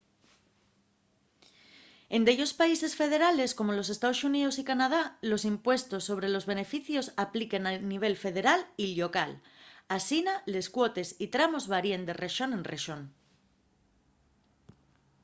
en dellos países federales como nos estaos xuníos y canadá los impuestos sobre los beneficios apliquen a nivel federal y llocal asina les cuotes y tramos varíen de rexón en rexón